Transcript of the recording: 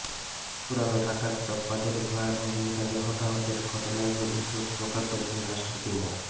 পুরান ঢাকার চকবাজারে ভয়াবহ অগ্নিকাণ্ডে হতাহতের ঘটনায় গভীর শোক প্রকাশ করেছেন রাষ্ট্রপতি মো